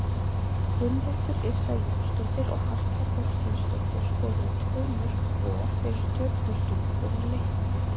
Gunnhildur Yrsa Jónsdóttir og Harpa Þorsteinsdóttir skoruðu tvö mörk hvor fyrir Stjörnustúlkur í leiknum.